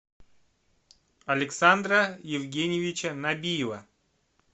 александра евгеньевича набиева